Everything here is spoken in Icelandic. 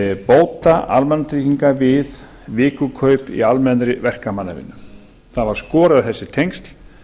bóta almannatrygginga við vikukaup í almennri verkamannavinnu það var skorið á þessi tengsl